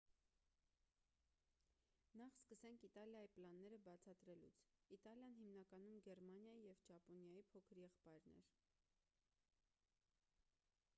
նախ սկսենք իտալիայի պլանները բացատրելուց իտալիան հիմնականում գերմանիայի և ճապոնիայի փոքր եղբայրն էր